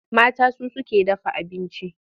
Mata su suke dafa abinci.